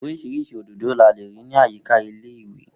Orísirísi òdòdó ni a lè rí ní àyíká ilé ìwé